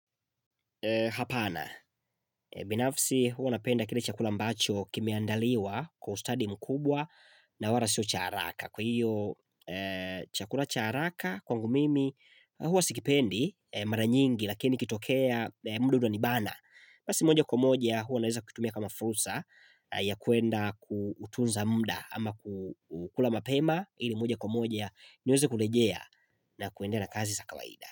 Hapana, binafsi huwa napenda kile chakula mbacho kimeandaliwa kwa ustadi mkubwa na wala sio cha haraka. Kwa hiyo chakula cha haraka kwangu mimi hua sikipendi mara nyingi lakini kitokea mudu utanibana. Basi moja kwa moja huwa naweza kutumia kama frusa ya kuenda kutunza muda ama kukula mapema ili moja kwa moja niweze kulejea na kuendelea na kazi za kawaida.